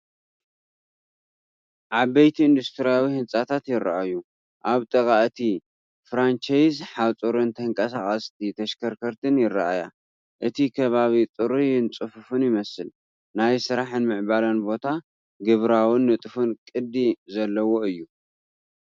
ዓበይቲ ኢንዱስትርያዊ ህንጻታት ይረኣዩ። ኣብ ጥቓ እቲ ፍራንቸይዝ ሓጹርን ተንቀሳቐስቲ ተሽከርከርትን ይረኣያ። እቲ ከባቢ ጽሩይን ጽፉፍን ይመስል። ናይ ስራሕን ምዕባለን ቦታ፡ ግብራውን ንጡፍን ቅዲ ዘለዎ እዩ።